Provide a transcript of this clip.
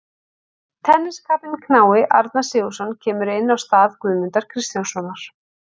Tenniskappinn knái Arnar Sigurðsson kemur inn á í stað Guðmundar Kristjánssonar.